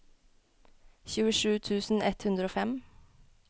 tjuesju tusen ett hundre og fem